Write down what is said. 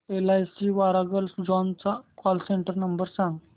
LIC Warangal zone चा call centre number सांग